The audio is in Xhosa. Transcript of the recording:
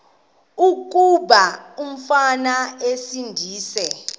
kuba umfana esindise